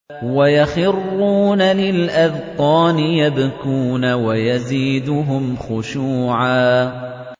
وَيَخِرُّونَ لِلْأَذْقَانِ يَبْكُونَ وَيَزِيدُهُمْ خُشُوعًا ۩